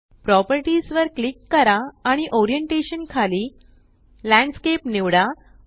properties वर click करा आणि ओरिएंटेशन खाली लँडस्केप निवडा